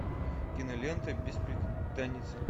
кинолента бесприданница